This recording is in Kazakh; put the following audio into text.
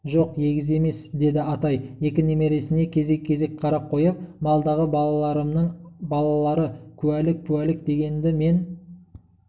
жоқ егіз емес деді атай екі немересіне кезек-кезек қарап қойып малдағы балаларымның балалары куәлік-пуәлік дегенді мен